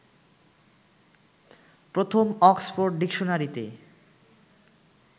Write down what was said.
প্রথম অক্সফোর্ড ডিকশনারিতে